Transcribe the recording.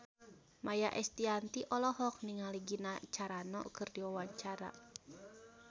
Maia Estianty olohok ningali Gina Carano keur diwawancara